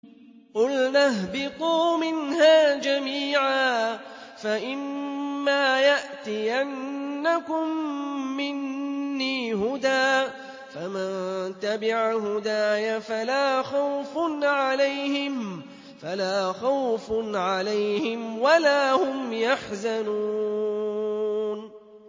قُلْنَا اهْبِطُوا مِنْهَا جَمِيعًا ۖ فَإِمَّا يَأْتِيَنَّكُم مِّنِّي هُدًى فَمَن تَبِعَ هُدَايَ فَلَا خَوْفٌ عَلَيْهِمْ وَلَا هُمْ يَحْزَنُونَ